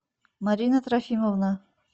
марина трофимовна